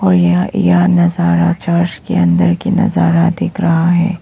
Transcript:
और यह यह नजारा चर्च के अंदर की नजारा दिख रहा है।